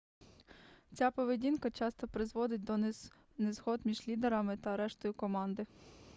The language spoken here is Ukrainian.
ця поведінка часто призводить до незгод між лідерами та рештою команди